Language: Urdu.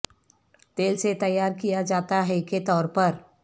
تیل سے تیار کیا جاتا ہے کے طور پر